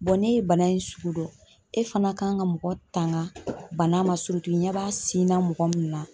n'e ye bana in sugu dɔn ,e fana kan ka mɔgɔ tanga bana ma i ɲɛ b'a na mɔgɔ min na.